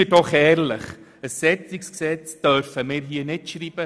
Seien wir ehrlich: Ein solches Gesetz dürfen wir nicht schreiben.